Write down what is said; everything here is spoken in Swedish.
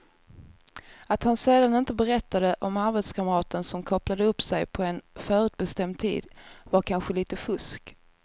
Att han sedan inte berättade om arbetskamraten som kopplade upp sig på en förutbestämd tid var kanske lite fusk.